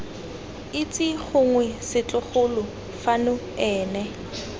itse gongwe setlogolo fano ene